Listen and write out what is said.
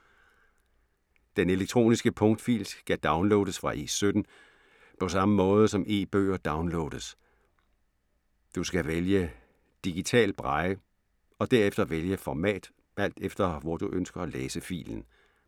Den elektroniske punktfil skal downloades fra E17, på samme måde som e-bøger downloades. Du skal vælge Digital Braille, og derefter vælge format alt efter, hvor du ønsker at læse filen.